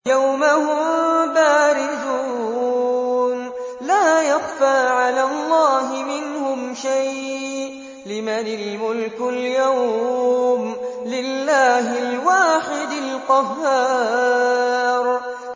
يَوْمَ هُم بَارِزُونَ ۖ لَا يَخْفَىٰ عَلَى اللَّهِ مِنْهُمْ شَيْءٌ ۚ لِّمَنِ الْمُلْكُ الْيَوْمَ ۖ لِلَّهِ الْوَاحِدِ الْقَهَّارِ